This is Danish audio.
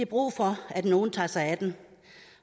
brug for at nogle tager sig af dem